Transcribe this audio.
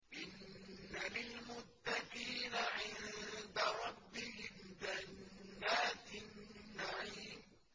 إِنَّ لِلْمُتَّقِينَ عِندَ رَبِّهِمْ جَنَّاتِ النَّعِيمِ